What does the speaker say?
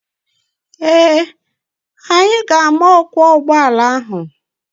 Ee, anyị ga-ama ọkwọ ụgbọala ahụ.